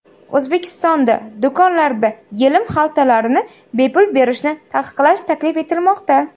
O‘zbekistonda do‘konlarda yelim xaltalarni bepul berishni taqiqlash taklif etilmoqda.